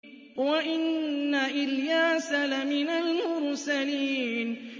وَإِنَّ إِلْيَاسَ لَمِنَ الْمُرْسَلِينَ